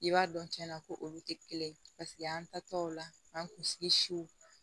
I b'a dɔn tiɲɛna ko olu tɛ kelen paseke an ta tɔw la an kunsigi siw